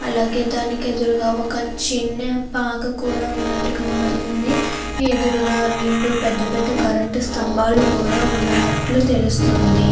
అలాగే దానికి ఎదురుగా ఒక చిన్న పాక కూడా ఉన్నట్టు కనబడుతుంది ఎదురుగా రెండు పెద్ద పెద్ద కరెంటు స్తంబాలు కూడా ఉన్నట్లు తెలుస్తుంది.